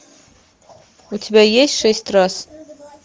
у тебя есть шесть раз